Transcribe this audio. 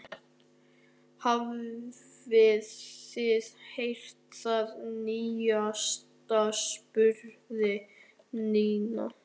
Hafið þið heyrt það nýjasta? spurði Nína.